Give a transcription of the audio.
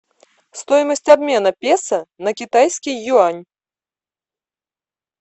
стоимость обмена песо на китайский юань